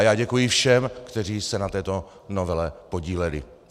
A já děkuji všem, kteří se na této novele podíleli.